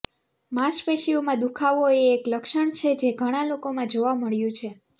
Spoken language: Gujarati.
માંસપેશીઓમાં દુખાવો એ એક લક્ષણ છે જે ઘણા લોકોમાં જોવા મળ્યું છે